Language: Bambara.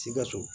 Sikaso